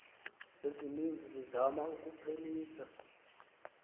ezininzi zizama ukuphelisa